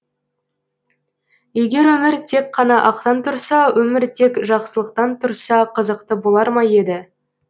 егер өмір тек қана ақтан тұрса өмір тек жақсылықтан тұрса қызықты болар ма еді